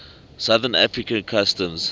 southern african customs